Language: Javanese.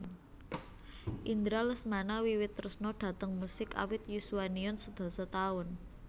Indra Lesmana wiwit tresna dhateng musik awit yuswaniun sedasa taun